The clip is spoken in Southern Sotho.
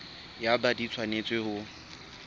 ya bt di tshwanetse ho